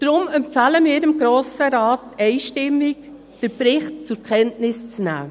Deshalb empfehlen wir dem Grossen Rat einstimmig, den Bericht zur Kenntnis zu nehmen.